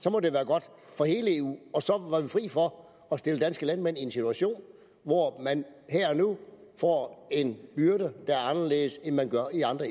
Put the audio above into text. så må det være godt for hele eu og så var vi fri for at stille danske landmænd en situation hvor man her og nu får en byrde der er anderledes end man får i andre